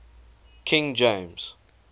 king james